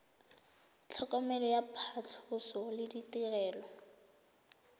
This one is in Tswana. tlhokomelo ya phatlhoso le ditirelo